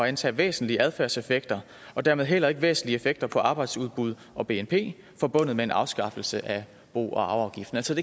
antage væsentlige adfærdseffekter og dermed heller ikke væsentlige effekter på arbejdsudbud og bnp forbundet med en afskaffelse af bo og arveafgiften altså at